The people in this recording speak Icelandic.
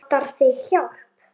Vantar þig hjálp?